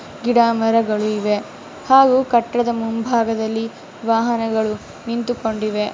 ಗಿಡ ಮರಗಳು ಇವೆ ಹಾಗು ಕಟ್ಟಡದ ಮುಂಭಾಗದಲಿ ವಾಹನಗಳು ನಿಂತುಕೊಂಡಿವೆ .